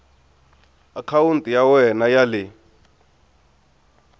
akhawunti ya wena ya le